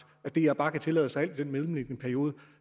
at dr bare kan tillade sig alt i den mellemliggende periode